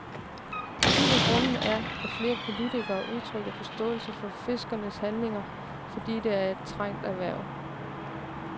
En af grundene er, at flere politikere udtrykker forståelse for fiskernes handlinger, fordi det er et trængt erhverv.